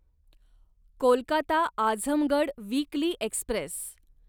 Kolkata Azamgarh weekly Express